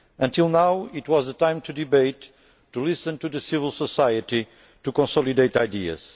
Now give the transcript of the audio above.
Until now, it has been time to debate, to listen to civil society and to consolidate ideas.